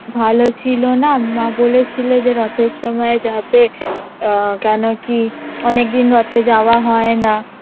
ভালো ছিলো না মা বলেছিল যে রথের সময় যাবে আহ কেন কি অনেকদিন রথে যাওয়া হয় না